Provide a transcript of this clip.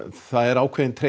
það er ákveðinn tregi